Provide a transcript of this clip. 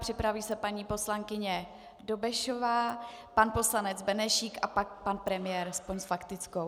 Připraví se paní poslankyně Dobešová, pan poslanec Benešík a pak pan premiér aspoň s faktickou.